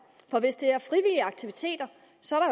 for hvis det er frivillige aktiviteter